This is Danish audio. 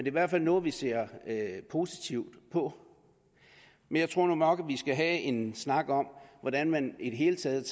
i hvert fald noget vi ser positivt på men jeg tror nu nok at skal have en snak om hvordan man i det hele taget